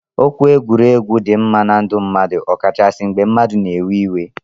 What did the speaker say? Okwu egwuregwu di mma na ndu mmadu ọkachasi mgbe mmadu na ewe iwe.